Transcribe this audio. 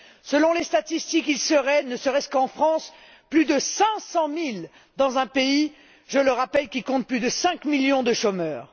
Selon les statistiques, ils seraient ne serait ce qu'en France plus de 500000dans un pays je le rappelle qui compte plus de 5millions de chômeurs.